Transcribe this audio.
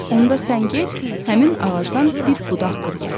Onda sən get, həmin ağacdan bir budaq qır gətir.